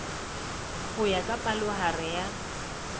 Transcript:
ho ya ka palohare ya